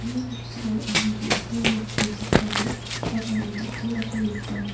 ia noksao anga ge·gittam dake chakka ge·brigipa gari dal·dalako nika.